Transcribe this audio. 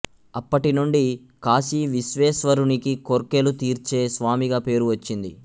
అప్పటి నుండి కాశీవిశ్వేశ్వరునికి కోర్కెలు తీర్చే స్వామిగా పేరు వచ్చింది